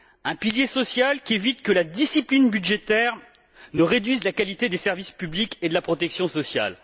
Un pilier social qui évite que la discipline budgétaire ne réduise la qualité des services publics et de la protection sociale.